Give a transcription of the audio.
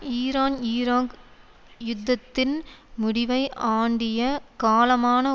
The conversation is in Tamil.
ஈரான்ஈராக் யுத்தத்தின் முடிவை ஆண்டிய காலமான